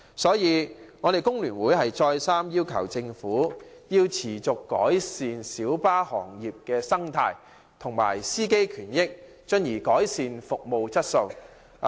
所以，工聯會再三要求政府改善小巴行業的生態及司機權益，從而改善小巴的服務質素。